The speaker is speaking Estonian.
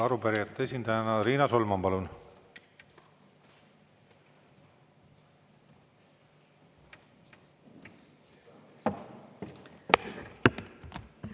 Arupärijate esindajana Riina Solman, palun!